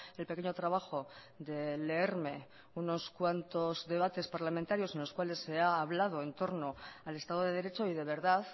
el pequeño trabajo de leerme unos cuantos debates parlamentarios en los cuales se ha hablado en torno al estado de derecho y de verdad